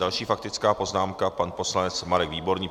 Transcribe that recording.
Další faktická poznámka, pan poslanec Marek Výborný.